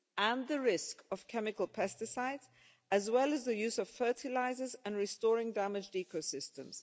use and the risk of chemical pesticides, as well as the use of fertilisers, and restoring damaged ecosystems.